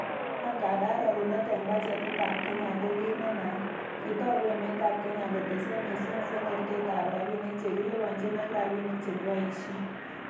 Angandan rorunet en bachetitab serkalit ko kit nenaat, kitoogu emet ab Kenya kotese missing sengertet ab rabinik che kiliponyin ak rabinik che kiboishen.